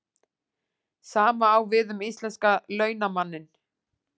Sama á við um íslenska launamanninn.